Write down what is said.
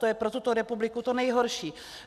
To je pro tuto republiku to nejhorší.